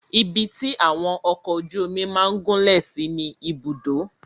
Ibi tí àwọn ọkọ ojú omi máà gúnlẹ̀ sí ni Ibùdó.